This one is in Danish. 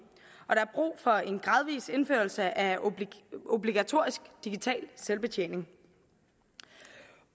og der er brug for en gradvis indførelse af obligatorisk digital selvbetjening